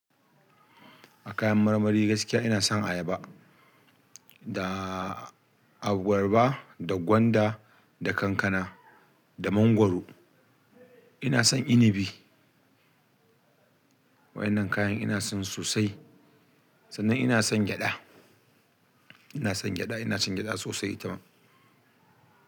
A kayan marmari gaskiya ina son ayaba da abarba da gwanda da kankana, da mangwaro. Ina son inibi. Waɗannan kayan ina son sosai. Sannan ina son gyaɗa. Ina son gyaɗa, ina cin gyaɗa sosai itama.